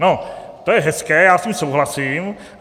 No to je hezké, já s tím souhlasím.